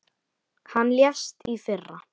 Hann lést í fyrra.